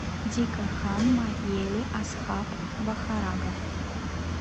дика хан ма ели асхаб вахарагов